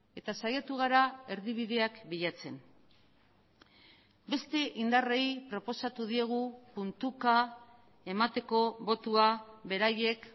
eta saiatu gara erdibideak bilatzen beste indarrei proposatu diegu puntuka emateko botoa beraiek